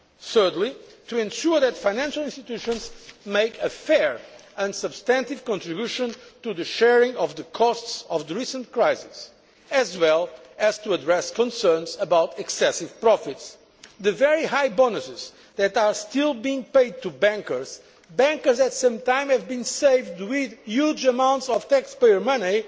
Thirdly, to ensure that financial institutions make a fair and substantive contribution to the sharing of the costs of the recent crisis, as well as to address concerns about excessive profits. The very high bonuses that are still being paid to bankers bankers who have sometimes been saved thanks to huge amounts of taxpayers'